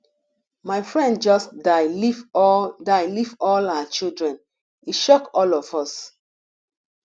my friend just die leave all die leave all her children e shock all of us